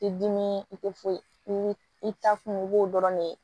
Ti dimi i te foyi i ta kun i b'o dɔrɔn ne ye